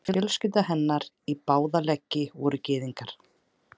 Fjölskylda hennar í báða leggi voru gyðingar.